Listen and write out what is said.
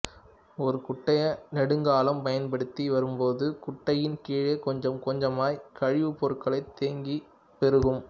ஒரு குட்டையை நெடுங்காலம் பயன்படுத்தி வரும்போது குட்டையின் கீழே கொஞ்சம் கொஞ்சமாய் கழிவுப் பொருட்கள் தேங்கிப் பெருகும்